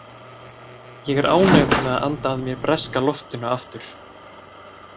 Ég er ánægður með að anda að mér breska loftinu aftur.